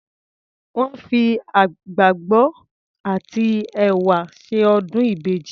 Wọ́n fi àgbàgbọ àti ẹ̀wà ṣe ọdún ìbejì.